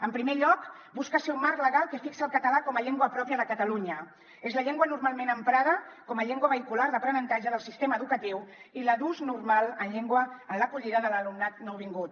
en primer lloc busca ser un marc legal que fixa el català com a llengua pròpia de catalunya és la llengua normalment emprada com a llengua vehicular d’aprenentatge del sistema educatiu i la d’ús normal en l’acollida de l’alumnat nouvingut